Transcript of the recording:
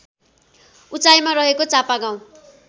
उचाइमा रहेको चापागाउँ